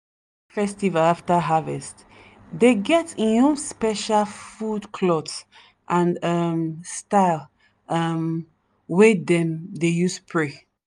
festival after harvest dey get en own special food cloth and um style um wey dem dey use pray.